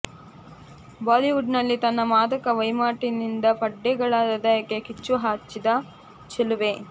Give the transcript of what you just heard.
ಬಾಲಿವುಡ್ನಲ್ಲಿ ತನ್ನ ಮಾದಕ ಮೈಮಾಟದಿಂದ ಪಡ್ಡೆಗಳ ಹೃದಯಕ್ಕೆ ಕಿಚ್ಚು ಹಚ್ಚಿದ ಚೆಲುವೆ